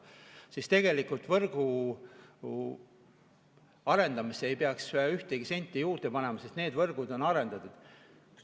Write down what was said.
Sel juhul tegelikult võrgu arendamisse ei peaks ühtegi senti juurde panema, sest need võrgud on arendatud.